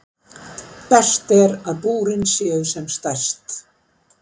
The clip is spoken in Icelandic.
Best er að búrin séu sem stærst.